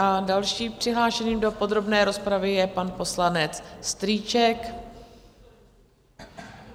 A dalším přihlášeným do podrobné rozpravy je pan poslanec Strýček.